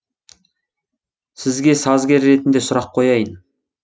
сізге сазгер ретінде сұрақ қояйын